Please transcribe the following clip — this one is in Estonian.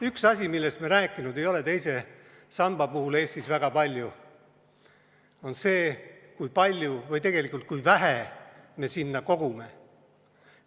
Üks asi, millest me ei ole teise samba puhul Eestis väga palju rääkinud, on see, kui palju või tegelikult kui vähe me sinna kogume.